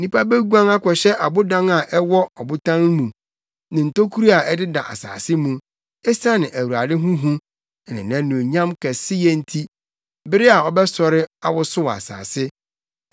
Nnipa beguan akɔhyɛ abodan a ɛwɔ abotan mu ne ntokuru a ɛdeda asase mu esiane Awurade ho hu ne nʼanuonyam kɛseyɛ nti, bere a ɔbɛsɔre awosow asase.